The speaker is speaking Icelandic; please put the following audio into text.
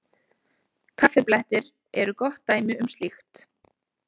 Kaffiblettir eru gott dæmi um slíkt.